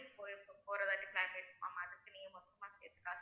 போ~ போற மாதிரி plan இருக்கு ma'am அதுக்கு நீங்க மொத்தமா சேர்த்து காசு